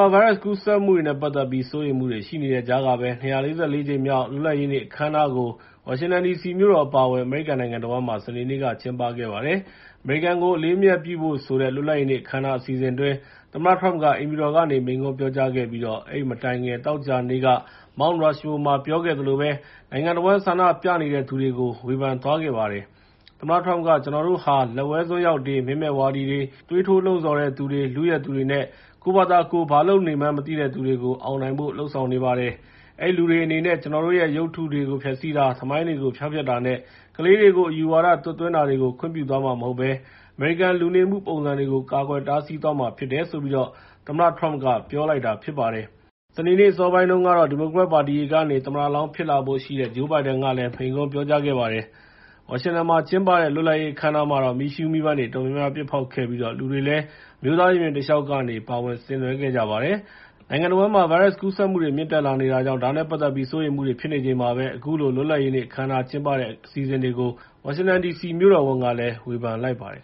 ာ ဗိုင်းရပ်စ်ကူးစက်မှုနဲ့ ပတ်သက်ပြီး စိုးရိမ်မှုတွေ ရှိနေတဲ့ကြားကပဲ ၂၄၄ ကြိမ်မြောက် လွတ်လပ်ရေးနေ့ အခမ်းအနားကို ဝါရှင်တန်ဒီစီမြို့တော် အပါအဝင် အမေရိကန်နိုင်ငံတဝန်းမှာ စနေနေ့က ကျင်းပခဲ့ပါတယ်။ အမေရိကန်ကို အလေးအမြတ်ပြုဖို့ဆိုတဲ့ လွတ်လပ်ရေးနေ့ အခမ်းအနား အစီအစဉ်အတွင်း သမ္မတ Trump က အိမ်ဖြူတော်ကနေ မိန့်ခွန်းပြောကြားခဲ့ပြီး အဲဒီမတိုင်ခင် သောကြာနေ့က Mount Rushmore မှာ ပြောခဲ့သလိုမျိုး နိုင်ငံတဝန်း ဆန္ဒပြနေတဲ့သူတွေကို ဝေဖန်လိုက်ပါတယ်။ သမ္မတ Trump က “ကျနော်တို့ဟာ လက်ဝဲစွန်းရောက်တွေ၊ မင်းမဲ့ဝါဒီတွေ၊ သွေးထိုးလှုံ့ဆော်သူတွေ၊ လုယက်သူတွေနဲ့ ကိုယ့်ဘာသာကိုယ် ဘာလုပ်လို့လုပ်နေမှန်း မသိတဲ့သူတွေကို အောင်နိုင်ဖို့ လုပ်ဆောင်နေပါတယ်။ အဲဒီလူတွေအနေနဲ့ ကျနော်တို့ရဲ့ ရုပ်တုတွေ ဖျက်ဆီးတာနဲ့ သမိုင်းတွေကို ဖျောက်ဖျက်တာနဲ့ ကလေးတွေကို အယူဝါဒ သွတ်သွင်းတာတွေကို ခွင့်ပြုသွားမှာ မဟုတ်ဘဲ အမေရိကန် လူနေမှုပုံစံကို ကာကွယ်တားဆီးသွားမှာ ဖြစ်တယ်” လို့ သမ္မတ Trump က ပြောလိုက်ပါတယ်။ စနေနေ့ အစောပိုင်းတုန်းကတော့ ဒီမိုကရက်ပါတီက သမ္မတလောင်း ဖြစ်လာဖို့ရှိတဲ့ Joe Biden ကလည်း မိန့်ခွန်းပြောကြားခဲ့ပါတယ်။ ဝါရှင်တန်မှာကျင်းပတဲ့ လွတ်လပ်ရေးနေ့ အခမ်းအနားမှာတော့ မီးရှူးမီးပန်းတွေ အတော်များများ ပစ်ဖောက်ခဲ့ပြီး လူတွေလည်း အမျိုးသားရင်ပြင်တလျှောက်ကနေ ပါဝင်ဆင်နွှဲခဲ့ကြပါတယ်။ နိုင်ငံတဝန်းမှာ ဗိုင်းရပ်စ်ကူးစက်မှုတွေ မြင့်တက်လာနေတာကြောင့် ဒါနဲ့ပတ်သက်ပြီး စိုးရိမ်မှုတွေ ဖြစ်နေချိန်မှာ အခုလို လွတ်လပ်ရေးနေ့ အခမ်းအနား ကျင်းပခဲ့တဲ့ အစီအစဉ်တွေကို ဝါရှင်တန်ဒီစီ မြို့တော်ဝန်က ဝေဖန်လိုက်ပါတယ်